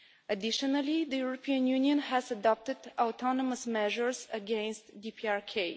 Additionally, the European Union has adopted autonomous measures against DPRK.